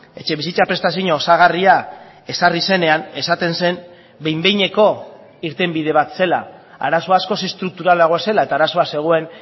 etxebizitza prestazio osagarria ezarri zenean esaten zen behin behineko irtenbide bat zela arazo askoz estrukturalagoa zela eta arazoa zegoen